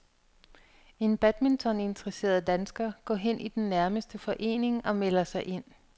En badmintoninteresseret dansker går hen i den nærmeste forening og melder sig ind.